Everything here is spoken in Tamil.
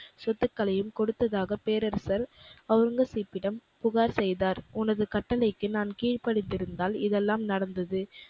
சொத்துக்களையும் கொடுத்ததாக பேரரசர் ஒளரங்கசீப்பிடம் புகார் செய்தார். உனது கட்டளைக்கு நான் கீழ்ப்படிந்திருந்தால் இதெல்லாம் நடந்தது.